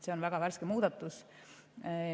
See on väga värske muudatus.